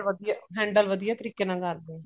handle ਵਧੀਆ ਤਰੀਕੇ ਨਾਲ ਕਰਦੇ ਹੈ